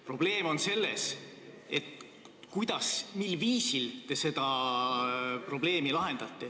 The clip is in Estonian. Probleem on selles, kuidas, mil viisil te seda probleemi lahendate.